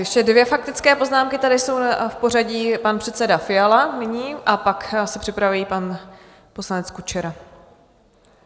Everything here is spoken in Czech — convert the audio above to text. Ještě dvě faktické poznámky tady jsou v pořadí, pan předseda Fiala nyní a pak se připraví pan poslanec Kučera.